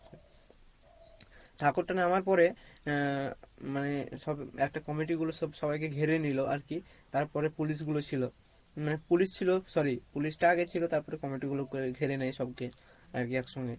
ঠাকুর টা নামার পরে আহ মানে সব একটা comity গুলো সব সবাইকে ঘিরে নিলো আর কী তারপরে police গুলো ছিলো মানে police ছিলো sorry police টা আগে ছিলো তারপরে comity গুলো ঘিরে সবকে আর কী একসঙ্গে